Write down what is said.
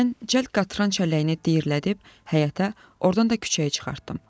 Mən cəld qatran çəlləyini diyirlədib həyətə, ordan da küçəyə çıxartdım.